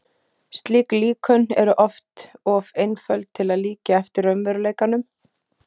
Slík líkön eru oft of einföld til að líkja eftir raunveruleikanum.